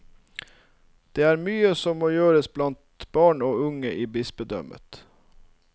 Det er mye som må gjøres blant barn og unge i bispedømmet.